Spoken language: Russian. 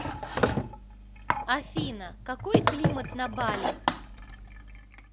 афина какой климат на бали